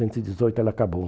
e dezoito ela acabou.